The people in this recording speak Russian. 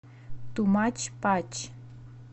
ту мач пач